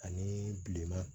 Ani bilenman